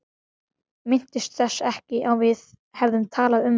Minntist þess ekki að við hefðum talað um það.